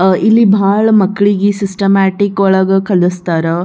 ಅಹ್ ಇಲ್ಲಿ ಬಹಳ ಮಕ್ಕಳಿಗೆ ಸಿಸ್ಟಮ್ಯಾಟಿಕ್ ಒಳಗ್ ಕಲಿಸ್ತರ್.